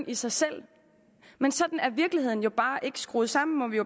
i sig selv men sådan er virkeligheden bare ikke skruet sammen må vi